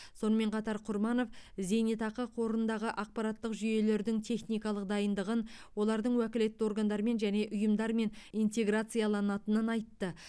сонымен қатар құрманов зейнетақы қорындағы ақпараттық жүйелердің техникалық дайындығын олардың уәкілетті органдармен және ұйымдармен интеграцияланатынын айтты